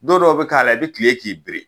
Dɔn dɔw be k'a la i be tile k'i biri.